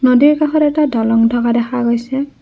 নদীৰ কাষত এটা দলং থকা দেখা গৈছে।